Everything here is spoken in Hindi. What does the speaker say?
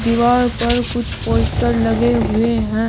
दीवार पर कुछ पोस्टर लगे हुए हैं।